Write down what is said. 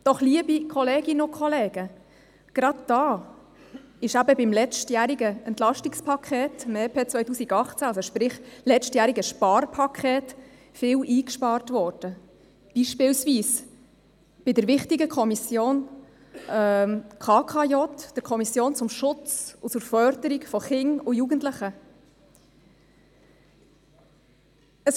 Doch, liebe Kolleginnen und Kollegen, gerade da wurde eben im letztjährigen Entlastungspaket, dem EP 2018, sprich im letztjährigen Sparpaket, viel eingespart, beispielsweise bei der wichtigen Kommission zum Schutz und zur Förderung von Kindern und Jugendlichen (KKJ).